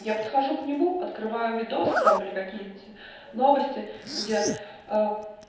я подхожу к нему открываю видосы там или какие-нибудь новости где ээ